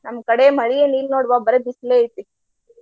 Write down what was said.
ನಮ್ಮ ಕಡೆ ಮಳಿ ಏನ ಇಲ್ಲ ನೋಡ್ವಾ ಬರಿ ಬಿಸಲೆ ಐತಿ.